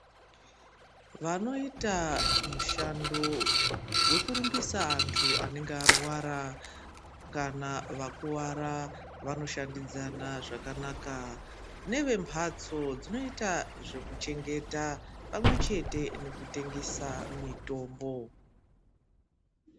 Vanoita mushando wekurumbisa antu anenge arwara kana vakuwara vanoshandidzana zvakanaka nevembhatso dzinoita zvekuchengeta pamwechete nekutengesa mitombo.